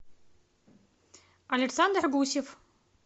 александр гусев